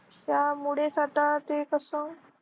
त्यामुळेच आता ते कसं.